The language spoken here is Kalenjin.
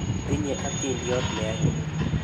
Tinye atindyot ne anyiny.